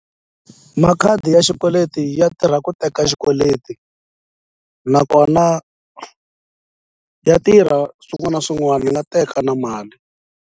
Makhadi ya xikweleti ya tirha ku teka xikweleti nakona ya tirha swin'wana na swin'wana ni nga teka na mali.